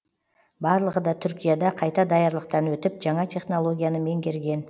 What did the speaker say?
барлығы да түркияда қайта даярлықтан өтіп жаңа технологияны меңгерген